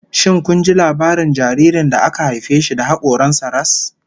Shin kun ji labarin jaririn da aka haife shi da hakoran sa ras?